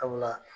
Sabula